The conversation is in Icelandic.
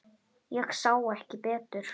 Ég sá ekki betur.